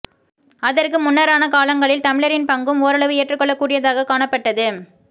அதற்கு முன்னரான காலங்களில் தமிழரின் பங்கும் ஓரளவு ஏற்றுக்கொள்ள கூடியதாக காணப்பட்டது